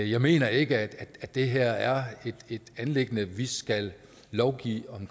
jeg mener ikke at det her er et anliggende som vi skal lovgive om